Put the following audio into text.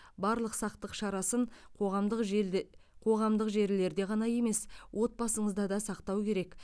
барлық сақтық шарасын қоғамдық желде қоғамдық жерлерде ғана емес отбасыңызда да сақтау керек